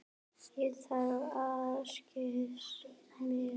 Ég þarf einskis með.